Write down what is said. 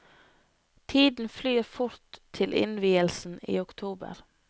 Tiden flyr fort til innvielsen i oktober.